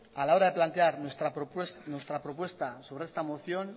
a la hora de plantear nuestra propuesta sobre esta moción